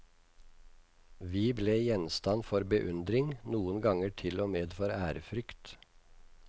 Vi ble gjenstand for beundring, noen ganger til og med for ærefrykt.